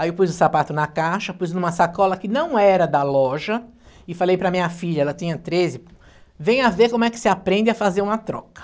Aí eu pus o sapato na caixa, pus numa sacola que não era da loja e falei para minha filha, ela tinha treze, venha ver como é que se aprende a fazer uma troca.